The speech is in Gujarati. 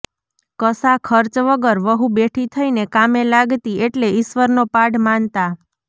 કશા ખર્ચ વગર વહુ બેઠી થઈને કામે લાગતી એટલે ઈશ્વરનો પાડ માનતાં